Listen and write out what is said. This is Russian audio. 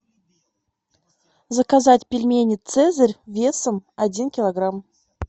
заказать пельмени цезарь весом один килограмм